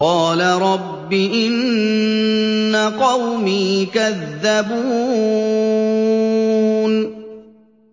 قَالَ رَبِّ إِنَّ قَوْمِي كَذَّبُونِ